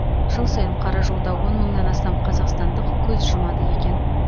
жыл сайын қаражолда он мыңнан астам қазақстандық көз жұмады екен